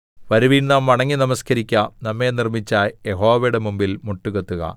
വരുവിൻ നാം വണങ്ങി നമസ്കരിക്കുക നമ്മെ നിർമ്മിച്ച യഹോവയുടെ മുമ്പിൽ മുട്ടുകുത്തുക